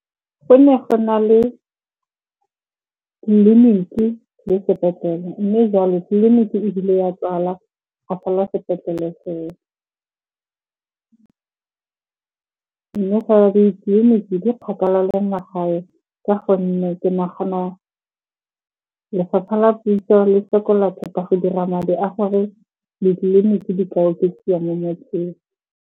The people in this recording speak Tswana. Go ne go na le tleliniki le sepetlele, mme jalo tleliniki ebile ya tswala ga sala sepetlele. Mme fela ditleliniki di kgakala le magae ka gonne ke nagana lefapha la puso le sokola thata go dira madi a gore ditleliniki di ka oketsiwa mo motseng.